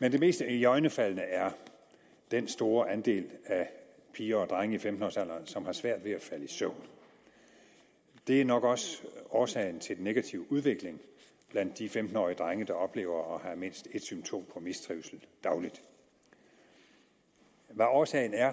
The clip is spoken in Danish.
men det mest iøjnefaldende er den store andel af piger og drenge i femten års alderen som har svært ved at falde i søvn det er nok også årsagen til den negative udvikling blandt de femten årige drenge der oplever at have mindst et symptom på mistrivsel dagligt hvad årsagen er